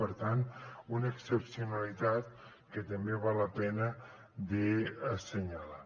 per tant una excepcionalitat que també val la pena d’assenyalar